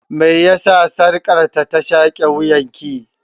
Me yasa sarƙar ta shaƙe wuyan ki?